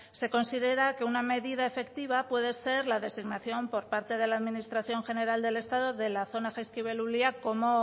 se considera que una medida efectiva puede ser la designación por parte de la administración general del estado de la zona jaizkibel ulia como